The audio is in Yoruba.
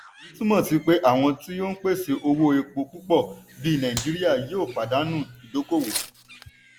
èyí túnmọ̀ sí pé àwọn tí ó n pèsè owó epo púpọ̀ bí nàìjíríà yòó pàdánù ìdókòwò.